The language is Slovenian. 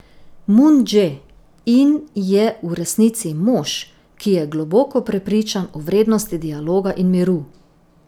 Mun Dže In je v resnici mož, ki je globoko prepričan o vrednosti dialoga in miru.